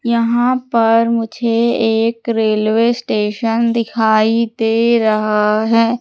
यहां पर मुझे एक रेलवे स्टेशन दिखाई दे रहा है।